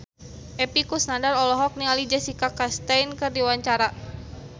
Epy Kusnandar olohok ningali Jessica Chastain keur diwawancara